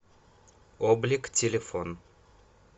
облик телефон